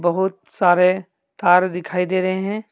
बहुत सारे तार दिखाई दे रहे हैं।